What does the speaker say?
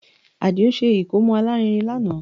Àdìó ṣe ìkómọ alárinrin lánàá